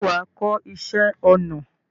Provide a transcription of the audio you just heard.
ṣé wà á kọ́ iṣẹ́ ọnà?